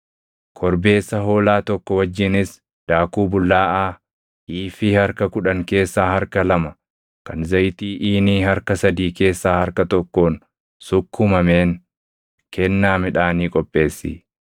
“ ‘Korbeessa hoolaa tokko wajjinis daakuu bullaaʼaa iifii harka kudhan keessaa harka lama kan zayitii iinii harka sadii keessaa harka tokkoon sukkumameen kennaa midhaanii qopheessi.